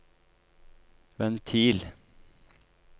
ventil